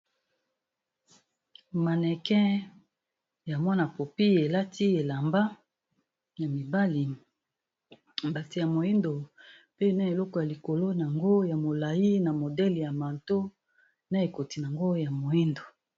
Mannequin ya mwana popi elati elamba ya mibali mbati ya moyindo, pe na eloko ya likolo nango ya molayi na modele ya manto na ekoti nango ya moyindo.